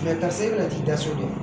karisa e bɛna t'i da so de